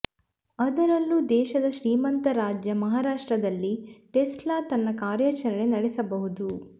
ಅದರಲ್ಲೂ ದೇಶದ ಶ್ರೀಮಂತ ರಾಜ್ಯ ಮಹಾರಾಷ್ಟ್ರದಲ್ಲಿ ಟೆಸ್ಲಾ ತನ್ನ ಕಾರ್ಯಾಚರಣೆ ನಡೆಸಬಹುದು